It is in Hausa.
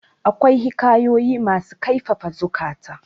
akwai hikayoyi masu kaifafa ziukata